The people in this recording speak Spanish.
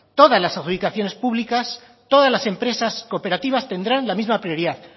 todas las adjudicaciones públicas todas las empresas cooperativas tendrán la misma prioridad